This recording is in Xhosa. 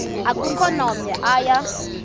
akukho namnye oya